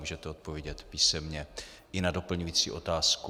Můžete odpovědět písemně i na doplňující otázku.